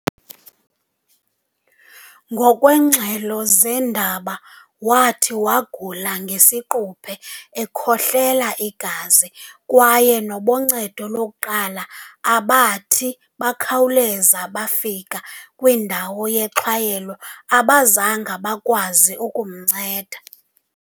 Ngokwengxelo zeendaba, wathi wagula ngesiquphe, ekhohlela igazi, kwaye naboncedo lokuqala abathi bakhawuleza bafika kwindawo yexhwayelo abazange bakwazi ukumnceda.